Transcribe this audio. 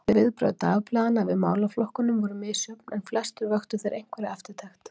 Nú brosti hann, töluvert blíðari á manninn, og rétti fram höndina.